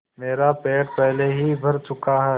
मेरा पेट पहले ही भर चुका है